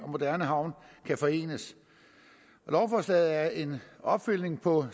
moderne havn kan forenes lovforslaget er en opfølgning på